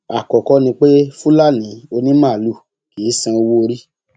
àkọkọ ni pé fúlàní onímaalùú kì í san owóorí